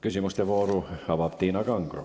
Küsimuste vooru avab Tiina Kangro.